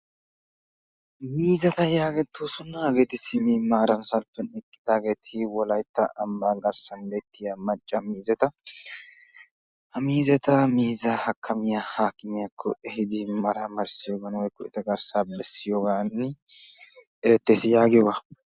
Miizzata yaagettoosona hageeti simma maara salppiyan eqqidaageeti wolaytta ambba garssan hemettiya macca miizzata, ha miizzataa miizza hakkamiyaa aakimiyaako ehiidi maramarissiyooga woykko eta garssa beessiyoogan erettees yagiyooga.